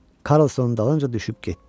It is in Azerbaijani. Karlson dalınca düşüb getdi.